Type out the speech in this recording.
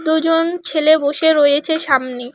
দুজন ছেলে বসে রয়েছে সামনে।